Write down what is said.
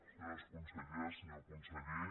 senyora consellera senyor conseller